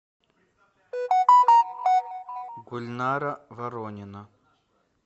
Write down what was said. гульнара воронина